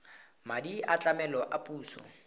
madi a tlamelo a puso